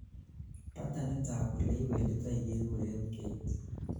patternit ab oleiwenditoi keguren gait